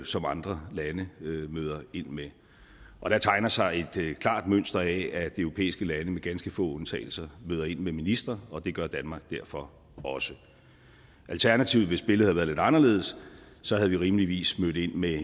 som andre lande møder ind med og der tegner sig et klart mønster af at de europæiske lande med ganske få undtagelser møder ind med en minister og det gør danmark derfor også alternativt hvis billedet havde været lidt anderledes så havde vi rimeligvis mødt ind med